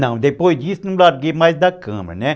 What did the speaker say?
Não, depois disso não larguei mais da câmera, né?